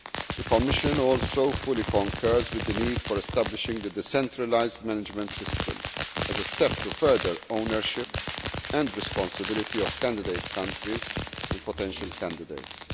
The Commission also fully concurs with the need to establish the decentralised management system as a step to promoting ownership and responsibility of candidate countries and potential candidates.